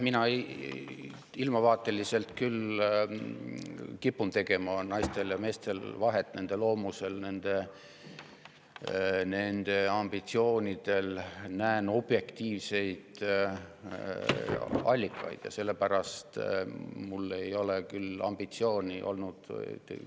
Mina ilmavaateliselt küll kipun tegema naistel ja meestel vahet, nende loomusel ja ambitsioonidel, näen objektiivseid allikaid.